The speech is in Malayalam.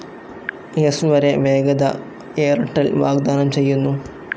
സ്‌ വരെ വേഗത എയർടെൽ വാഗ്ദാനം ചെയ്യുന്നു.